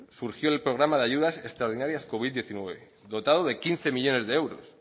surgió el programa de ayudas extraordinarias covid diecinueve dotado de quince millónes de euros